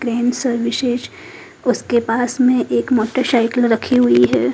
Crane services उसके पास में एक मोटरसाइकिल रखी हुई है।